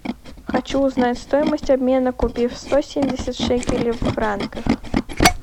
хочу узнать стоимость обмена купив сто семьдесят шекелей в франках